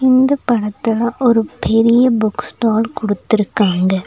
இந்தப் படத்துல ஒரு பெரிய புக் ஸ்டால் குடுத்திருக்காங்க.